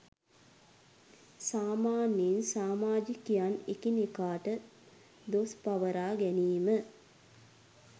සාමාන්‍යයෙන් සාමාජිකයන් එකිනෙකාට දොස් පවරා ගැනීම